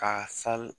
K'a sali